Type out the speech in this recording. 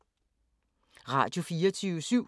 Radio24syv